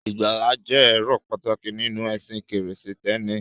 Ìgbàlà jẹ́ èrò pàtàkì nínú ẹ̀sìn Krístẹ́nì.